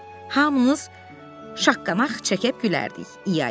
Hamınız şaqqanaq çəkib gülərdik.